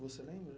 Você lembra?